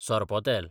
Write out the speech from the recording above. sorpotel